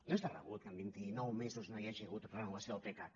no és de rebut que en vintinou mesos no hi hagi hagut renovació del pecac